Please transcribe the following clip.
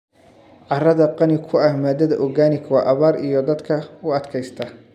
Carrada qani ku ah maadada organic waa abaar iyo daadadka u adkaysta.